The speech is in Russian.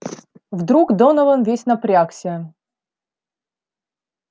вдруг донован весь напрягся